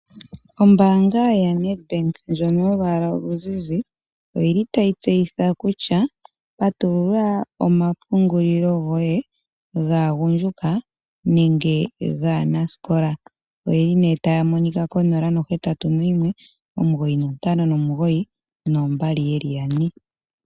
Ombaanga ya Nedbank ndjono yolwaala oluzizi oyili tayi tseyitha kutya Kutya patulula omapungulilo goye gaagundjuka nenge gaanasikola. Oyeli nee taya monika kongodhi 0819592222